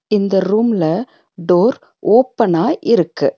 இந்த ரூம்ல டோர் ஓப்பனா இருக்கு.